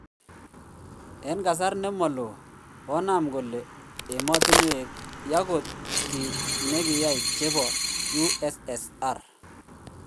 En kasar nemolo konam kole emotinwek ya kot kit nagiyai chepo USSR.